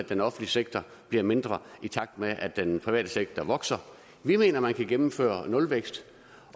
den offentlige sektor bliver mindre i takt med at den private sektor vokser vi mener man kan gennemføre nulvækst